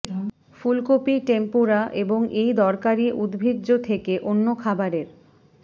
ফুলকপি টেম্পুরা এবং এই দরকারী উদ্ভিজ্জ থেকে অন্য খাবারের